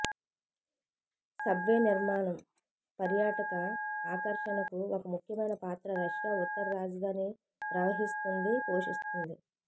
subway నిర్మాణం పర్యాటక ఆకర్షణకు ఒక ముఖ్యమైన పాత్ర రష్యా ఉత్తర రాజధాని ప్రవహిస్తుంది పోషిస్తుంది